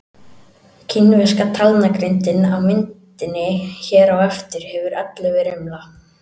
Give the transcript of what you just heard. Kínverska talnagrindin á myndinni hér á eftir hefur ellefu rimla.